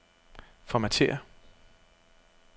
Formatér.